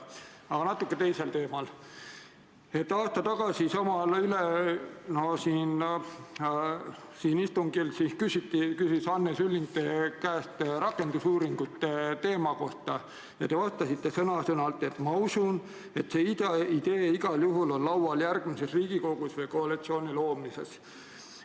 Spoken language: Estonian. Aasta tagasi sama teema juures küsis Anne Sulling siin istungil teie käest rakendusuuringute kohta ja te vastasite sõna-sõnalt nii: "Ma usun, et see idee igal juhul on laual järgmises Riigikogus või koalitsiooni loomisel.